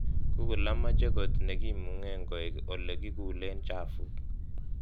Google amache kot nekimungee koek olikikulen chafuk